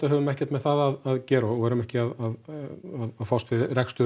höfum ekkert með það að gera við erum ekki að fást við rekstur